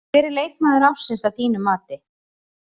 Hver er leikmaður ársins að þínu mati?